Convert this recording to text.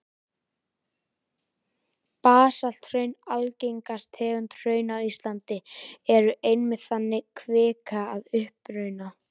Basalthraun, algengasta tegund hrauna á Íslandi, eru einmitt þannig kvika að uppruna.